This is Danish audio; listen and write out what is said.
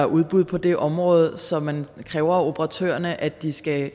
udbud på det område så man kræver af operatørerne at de skal